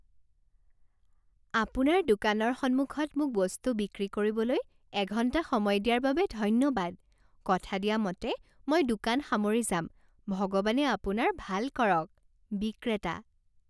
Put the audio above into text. আপোনাৰ দোকানৰ সন্মুখত মোক বস্তু বিক্ৰী কৰিবলৈ এঘণ্টা সময় দিয়াৰ বাবে ধন্যবাদ। কথা দিয়া মতে মই দোকান সামৰি যাম ভগৱানে আপোনাৰ ভাল কৰক। বিক্ৰেতা